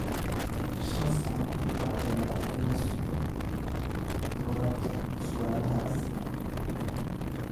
Shan sano ma dheera in la sugo jawaabta su'aalahaas.